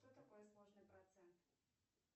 что такое сложный процент